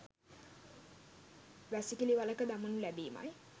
වැසිකිළි වළක දමනු ලැබීමයි.